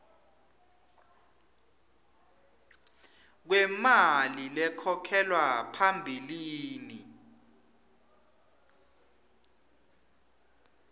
kwemali lekhokhelwa phambilini